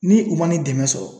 Ni u ma nin dɛmɛ sɔrɔ